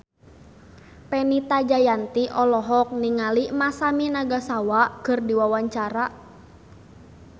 Fenita Jayanti olohok ningali Masami Nagasawa keur diwawancara